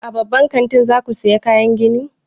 A babban kantin za ku saya kayan gini?